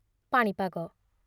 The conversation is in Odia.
ପାଣିପାଗ